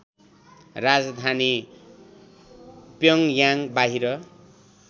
राजधानी प्योङयाङ बाहिर